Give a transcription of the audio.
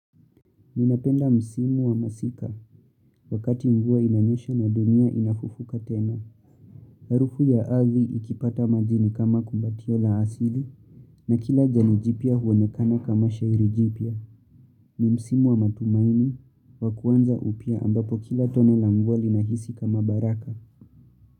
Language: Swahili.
Ninapenda msimu wa masika, wakati mvua inanyesha na dunia inafufuka tena. Harufu ya ardhi ikipata maji ni kama kumbatio la asili, na kila jani jipia huonekana kama shairi jipia. Ni msimu wa matumaini, wakuanza upya ambapo kila tone la mvua linahisi kama baraka.